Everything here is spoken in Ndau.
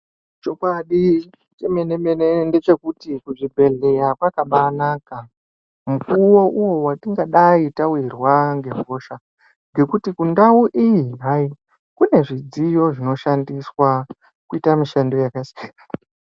Chokwadi chemenemene ngechekuti kuzvibhedhleya kwakabaanaka mukuwo uwo watingadai tawirwa ngehosha, ngekuti kundau iyi hai kune midziyo inoshandiswa kuita mishando yakasi ....